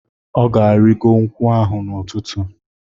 Ọ ga-arịgo nkwụ ahụ n'ụtụtụ.